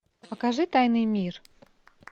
покажи тайный мир